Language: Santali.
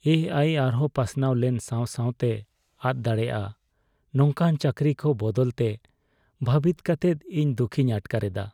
ᱮ ᱟᱭ ᱟᱨᱦᱚᱸ ᱯᱟᱥᱱᱟᱣ ᱞᱮᱱ ᱥᱟᱶ ᱥᱟᱶᱛᱮ ᱟᱫ ᱫᱟᱲᱮᱭᱟᱜᱼᱟ ᱱᱚᱝᱠᱟᱱ ᱪᱟᱹᱠᱨᱤ ᱠᱚ ᱵᱟᱵᱚᱫᱛᱮ ᱵᱷᱟᱹᱵᱤᱛ ᱠᱟᱛᱮᱫ ᱤᱧ ᱫᱩᱠᱷᱤᱧ ᱟᱴᱠᱟᱨᱮᱫᱟ ᱾